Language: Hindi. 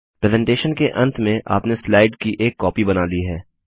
प्रेसेंटेशन के अंत में आपने स्लाइड की एक कॉपी बना ली है